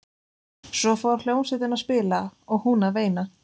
Svo fór hljómsveitin að spila og hún að veina.